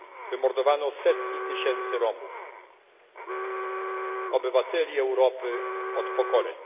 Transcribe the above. Wymordowano setki tysięcy Romów, obywateli Europy od pokoleń.